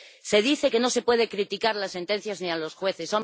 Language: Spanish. Se dice que no se puede criticar las sentencias, ni a los jueces.